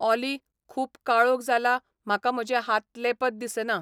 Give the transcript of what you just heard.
ऑली, खूब काळोख जाला म्हाका म्हजें हातले पद दिसनात